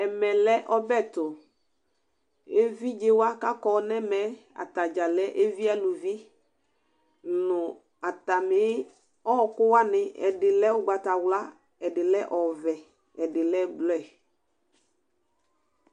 Ɛmɛ lɛ ɔbɛ tʊ Evɩdzewa kakɔ nɛmɛ atadza alɛ evɩalʊvɩ nʊ atamɩ ɔwɔkʊ wanɩ Ɛdɩ lɛ ʊgbatawla, ɛdɩ lɛ ɔvɛ, ɛdɩ lɛ blɔɛ